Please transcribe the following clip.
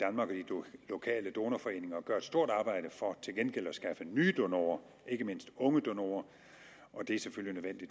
lokale donorforeninger gør et stort arbejde for til gengæld at skaffe nye donorer ikke mindst unge donorer og det er selvfølgelig